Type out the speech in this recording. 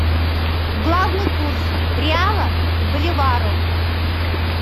главный курс реала к боливару